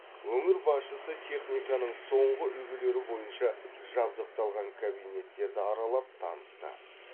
өңір басшысы техниканың соңғы үлгілері бойынша жабдықталған кабинеттерді аралап танысты